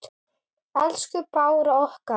Elsku Bára okkar.